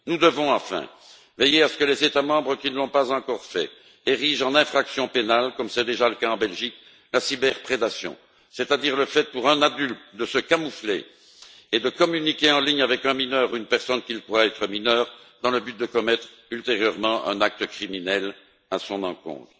Enfin, nous devons veiller à ce que les États membres qui ne l'ont pas encore fait érigent en infraction pénale, comme c'est déjà le cas en Belgique, la cyberprédation, c'est à dire le fait, pour un adulte, de se camoufler et de communiquer en ligne avec un mineur ou une personne qu'il croit être mineure, dans le but de commettre ultérieurement un acte criminel à son encontre.